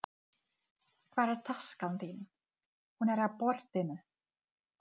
Hún vinnur hjá Íslenskri Erfðagreiningu.